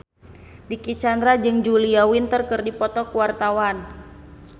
Dicky Chandra jeung Julia Winter keur dipoto ku wartawan